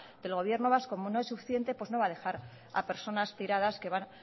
del gobierno vasco como no es suficiente pues no va a dejar a personas tiradas que van